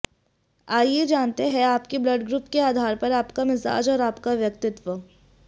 आइए जानते है आपके ब्लड ग्रुप के आधार पर आपका मिजाज और आपका व्यक्तित्व